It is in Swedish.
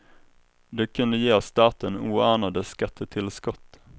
Det kunde ge staten oanade skattetillskott.